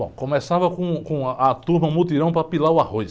Bom, começava com, com a turma mutirão para pilar o arroz.